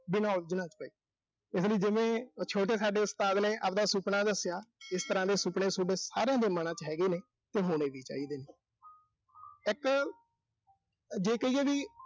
ਬਿਨਾਂ ਉਲਝਣ ਤੇ। ਇਸ ਲਈ ਜਿਵੇਂ ਉਹ ਛੋਟੇ ਸਾਡੇ ਉਸਤਾਦ ਨੇ ਆਬਦਾ ਸੁਪਨਾ ਦੱਸਿਆ, ਇਸ ਤਰ੍ਹਾਂ ਦੇ ਸੁਪਨੇ ਸੋਡੇ ਸਾਰਿਆਂ ਦੇ ਮਨਾਂ ਚ ਹੈਗੇ ਨੇ, ਤੇ ਹੋਣੇ ਵੀ ਚਾਹੀਦੇ ਨੇ। ਇੱਕ ਜੇ ਕਹੀਏ ਵੀ